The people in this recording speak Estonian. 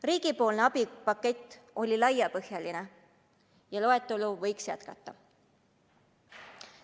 Riigi abipakett oli laiapõhjaline ja loetelu võiks jätkata.